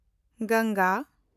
Ganga